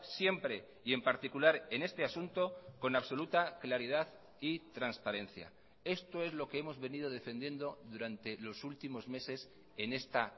siempre y en particular en este asunto con absoluta claridad y transparencia esto es lo que hemos venido defendiendo durante los últimos meses en esta